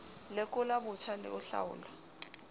lekola botjha le ho hlaola